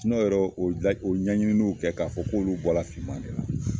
yɛrɛ u ye ɲaɲiniw kɛ, k'a fɔ k'olu bɔra fman ne la.